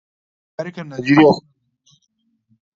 yarukan Najeriya suna zaune lafiya Lau da juna